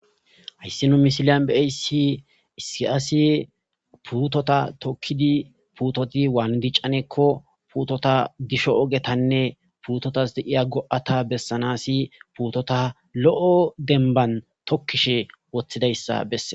Hayssi nu misiliyan beeyssi issi asi puutota tokkidi puutoti waandicanekko puutota disho ogetanne puutotas de7iya go7ata bessanasi puutota lo7o denban tokkishe woththidayssa besse